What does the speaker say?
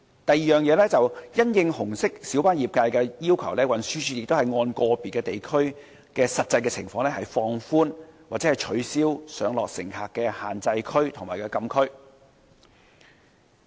第二，因應紅色小巴業界的要求，運輸署亦會按個別地區的實際情況放寬或取消上落乘客的限制區及禁區。